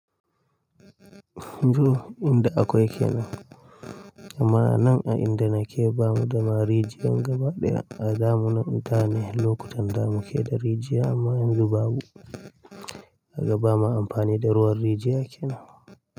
Toh, inda akwai kenan. Amma nan a inda nake bamu da ma rijiya gaba ɗaya a zamunan intanet, lokutan da muke da rijiya amma yanzu babu, kaga bama amfani da ruwan rijiya kenan.